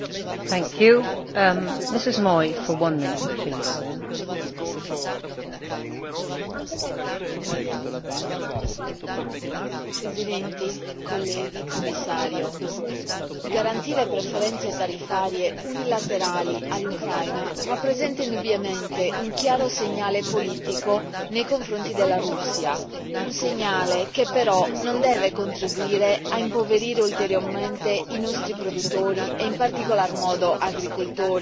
Signora Presidente, onorevoli colleghi, signor Commissario, garantire preferenze tariffarie unilaterali all'Ucraina rappresenta indubbiamente un chiaro segnale politico nei confronti della Russia. Un segnale che però non deve contribuire a impoverire ulteriormente i nostri produttori e in particolar modo agricoltori.